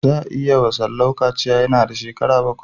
Za a yi wa Salau kaciya yana da shekaru bakwai.